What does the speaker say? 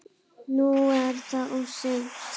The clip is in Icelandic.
Nú er það of seint.